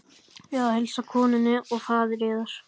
Bið að heilsa konunni og faðir yðar.